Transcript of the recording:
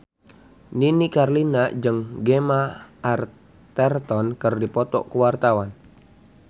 Nini Carlina jeung Gemma Arterton keur dipoto ku wartawan